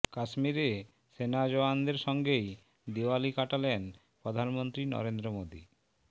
কাশ্মীরে সেনা জওয়ানদের সঙ্গেই দিওয়ালি কাটালেন প্রধানমন্ত্রী নরেন্দ্র মোদী